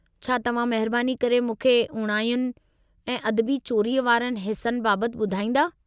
छा तव्हां महिरबानी करे मूंखे उणायुनि ऐं अदबी चोरीअ वारनि हिस्सनि बाबतु ॿुधाईंदा?